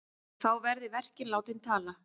Þá verði verkin látin tala.